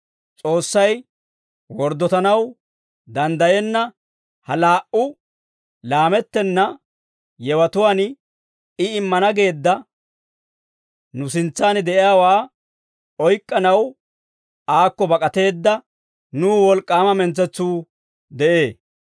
S'oossay worddotanaw danddayenna ha laa"u laamettenna yewatuwaan, I immana geedda nu sintsan de'iyaawaa oyk'k'anaw aakko bak'ateedda nuw wolk'k'aama mentsetsuu de'ee.